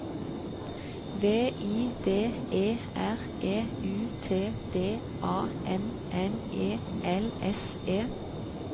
V I D E R E U T D A N N E L S E